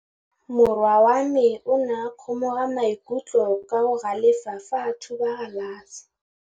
Morwa wa me o ne a kgomoga maikutlo ka go galefa fa a thuba galase.